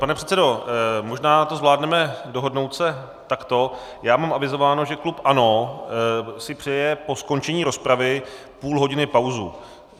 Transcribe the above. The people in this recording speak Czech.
Pane předsedo, možná to zvládneme dohodnout se takto: Já mám avizováno, že klub ANO si přeje po skončení rozpravy půl hodiny pauzu.